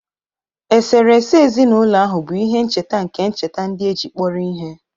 Eserese ezinụlọ ahụ bu ihe ncheta nke ncheta ndị e ji kpọrọ ihe.